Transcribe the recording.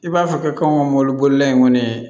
I b'a fɔ kɛ anw ka mɔbili bolila in kɔni